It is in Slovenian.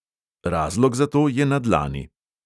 Razlog za to je na dlani.